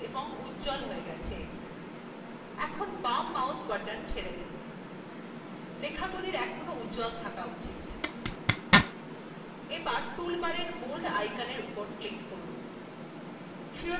এতে লেখাগুলি নিবাচিত এবং উজ্জ্বল হয়ে গেছে এখন বাম mouse button ছেড়ে দিন লেখাগুলির এখনও উজ্জ্বল তাহ্কা উচিত এবার toolbar bold আইকনের উপর click করুন